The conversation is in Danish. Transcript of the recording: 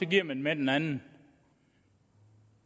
giver med med den anden